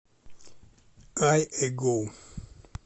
ай эгоу